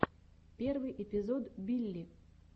первый эпизод билли